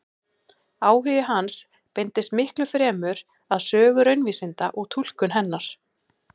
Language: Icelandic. Áhugi hans beindist miklu fremur að sögu raunvísinda og túlkun hennar.